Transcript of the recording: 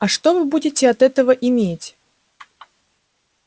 а что вы будете от этого иметь